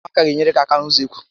Ụmụaka a gá enyere gị áká n'usekwu